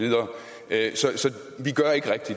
at